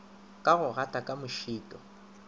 ka go gata ka mošito